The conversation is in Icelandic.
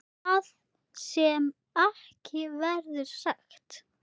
Það sem ekki verður sagt